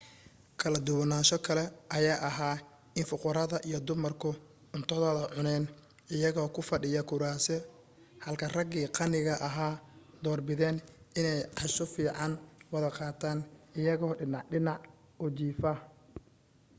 kala duwanaansho kale ayaa ahaa in fuqarada iyo dumarku cuntadooda cuneen iyagoo ku fadhiya kuraasi halka ragii qaniga ahaa door bideen inay casho fiican wada qaataan iyagoo dhinac-dhinac u jiifa